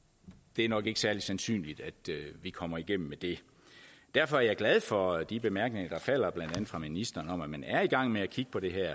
det er nok ikke særlig sandsynligt at vi kommer igennem med det derfor er jeg glad for de bemærkninger er faldet fra ministeren om at man er i gang med at kigge på det her